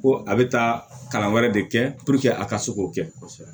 Ko a bɛ taa kalan wɛrɛ de kɛ a ka se k'o kɛ kosɛbɛ